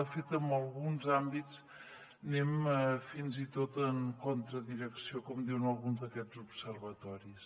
de fet en alguns àmbits anem fins i tot contra direcció com diuen alguns d’aquests observatoris